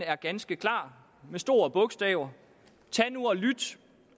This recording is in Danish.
er ganske klar med store bogstaver tag nu